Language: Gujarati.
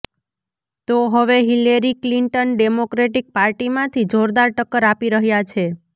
તો હવે હિલેરી ક્લિંટન ડેમોક્રેટીક પાર્ટીમાંથી જોરદાર ટક્કર આપી રહ્યા છે